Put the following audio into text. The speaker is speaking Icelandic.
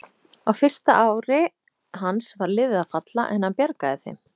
Á fyrsta ári hans var liðið að falla en hann bjargaði þeim.